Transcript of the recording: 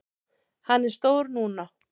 Hann er stór núna.